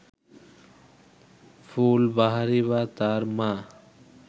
ফুলবাহারি বা তার মা